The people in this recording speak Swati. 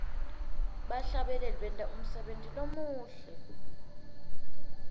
bahlabeleli benta umsebenti lomuhle